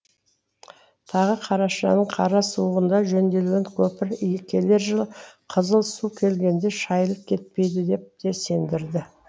тағы қарашаның қара суығында жөнделген көпір келер жылы қызыл су келгенде шайылып кетпейді деп те сендірді